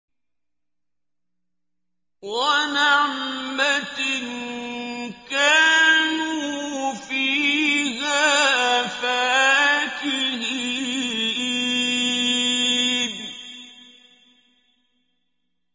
وَنَعْمَةٍ كَانُوا فِيهَا فَاكِهِينَ